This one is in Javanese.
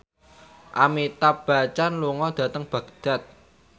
Amitabh Bachchan lunga dhateng Baghdad